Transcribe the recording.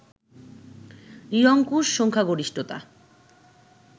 নিরঙ্কুশ সংখ্যাগরিষ্ঠতা